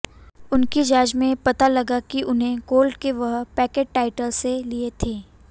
उनकी जांच में पता लगा कि उन्होंने गोल्ड के वह पैकेट टॉइलट्स से लिए थे